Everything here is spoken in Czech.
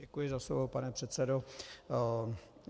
Děkuji za slovo, pane předsedo.